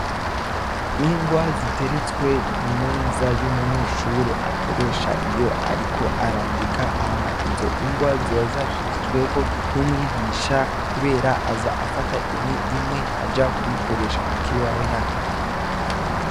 Ingwa ziteretswe ku meza y'umunyeshure akoresha iyo ariko arandika. Hama izo ngwa ziba zashizweho n'umwigisha kubera aza afata imwe imwe aza kuyikoresha ku kibaho yandika.